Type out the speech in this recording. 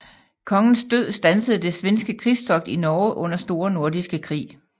Kongens død standsede det svenske krigstogt i Norge under Store Nordiske Krig